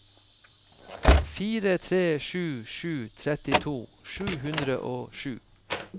fire tre sju sju trettito sju hundre og sju